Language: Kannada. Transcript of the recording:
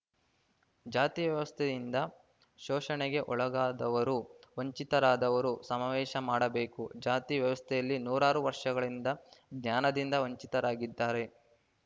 ಜಾತಿ ವ್ಯವಸ್ತೆಯಿಂದ ಶೋಷಣೆಗೆ ಒಳಗಾದವರು ವಂಚಿತರಾದವರು ಸಮಾವೇಶ ಮಾಡಬೇಕು ಜಾತಿ ವ್ಯವಸ್ಥೆಯಲ್ಲಿ ನೂರಾರು ವರ್ಷಗಳಿಂದ ಜ್ಞಾನದಿಂದ ವಂಚಿತರಾಗಿದ್ದಾರೆ